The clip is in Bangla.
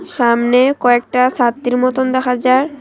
সামনে কয়েকটা সাত্রী মতোন দেখা যার ।